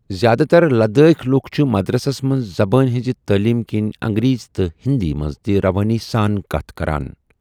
زیادٕ تر لدٲخۍ لُکھ چھِ مدرسس منٛز زبٲنۍ ہِنٛزِ تعلیٖم کِنۍ انگریٖزۍ تہٕ ہِندی منٛز تہِ روٲنی سان کتھ کران۔